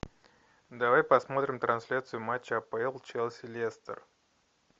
давай посмотрим трансляцию матча апл челси лестер